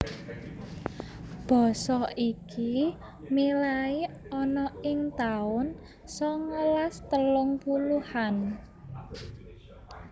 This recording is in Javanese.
Basa iki milai ana ing taun songolas telung puluhan